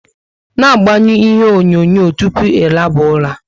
Na agbanyu ihe onyonyo tupu ị laba ụra!